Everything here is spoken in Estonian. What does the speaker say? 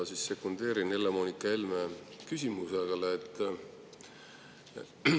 Ma siis sekundeerin Helle-Moonika Helme küsimusele.